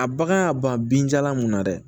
A bagan ka ban binjalan mun na dɛ